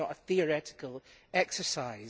This is not a theoretical exercise.